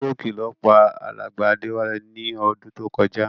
Stroke ló pa alàgbà Déwálé ni odún to kojá